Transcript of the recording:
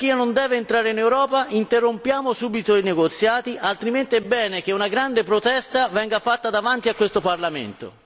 La Turchia non deve entrare in Europa, interrompiamo subito i negoziati altrimenti è bene che una grande protesta venga fatta davanti a questo Parlamento.